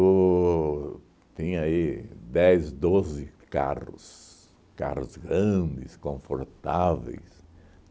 O tinha aí dez, doze carros, carros grandes, confortáveis.